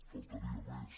faltaria més